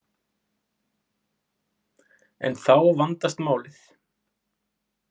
En þá vandast málið.